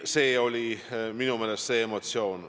Selline oli minu meelest see emotsioon.